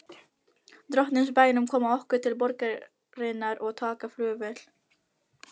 Drottins bænum koma okkur til borgarinnar og taka flugvél.